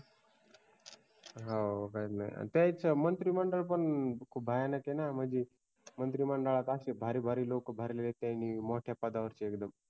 हो त्यांच्या मंत्रिमंडळ पण खूप भयानक वाटत म्हणजे त्यांच्या मंत्रिमंडळा त्यांनी असले भारी भारी लोक भरले त्यांनी त्यांच्या मोठ्या पदावर चे एकदम